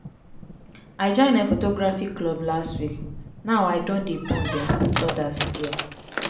i join um photography club last week now i don dey bond um wit odas there.